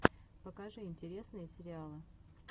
покажи интересные сериалы